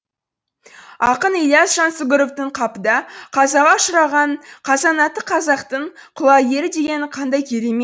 ақын ілияс жансүгіровтың қапыда қазаға ұшыраған қазанатты қазақтың құлагері дегені қандай